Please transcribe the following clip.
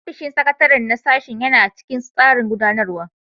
Ofishin sakatare na sashen yana cikin tsarin gudanarwa